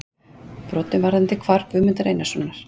brotum varðandi hvarf Guðmundar Einarssonar.